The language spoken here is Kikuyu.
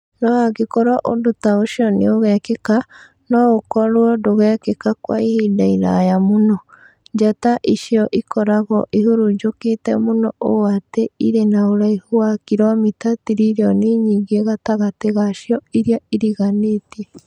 No angĩkorũo ũndũ ta ũcio nĩ ũgekĩka, no ũkorũo ndũtagekĩka kwa ihinda iraya mũno. Njata icio ikoragwo ihurunjũkĩtie mũno ũũ atĩ irĩ na ũraihu wa kiromita tiririoni nyingĩ gatagatĩ gacio iria iriganĩtie.